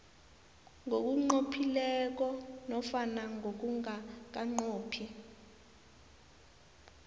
ngokunqophileko nofana ngokungakanqophi